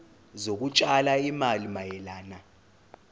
zokutshala izimali mayelana